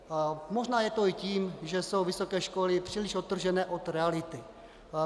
Možná je to i tím, že jsou vysoké školy příliš odtržené od reality.